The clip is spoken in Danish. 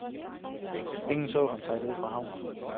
Ingen så ham sejle ud fra havnen.